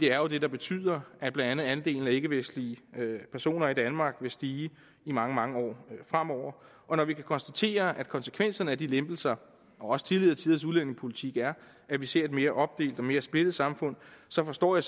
er jo det der betyder at blandt andet andelen af ikkevestlige personer i danmark vil stige i mange mange år fremover og når vi kan konstatere at konsekvenserne af de lempelser og også tidligere tiders udlændingepolitik er at vi ser et mere opdelt og mere splittet samfund så forstår jeg